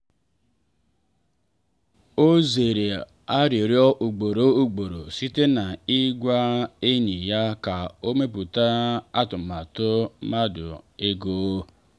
ọ zere arịrịọ ugboro ugboro site n’ịgwa enyi ya ka ọ mepụta atụmatụ mmefu ego.